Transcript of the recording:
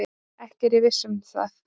Ekki er ég viss um það.